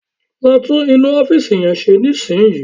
Lọ tún inú ọ́fìsì yẹn ṣe nísìnyí